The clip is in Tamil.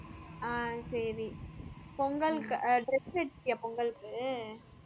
ஆஹ் சரி பொங்கலுக்கு ஆஹ் dress எடுத்திட்டியா பொங்கலுக்கு